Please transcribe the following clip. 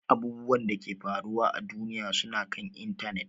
Abubwan Dake ke faruwa à duniya suna kan intanet.